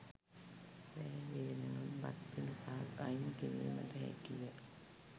රෑ වේලෙනුත් බත් පිඬු පහක් අයින් කිරීමට හැකිය.